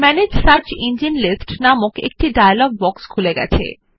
manage search engine list নামক একটি dialog box খুলে গেছে